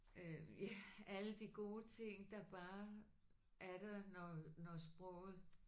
Øh ja alle de gode ting der bare er der når når sproget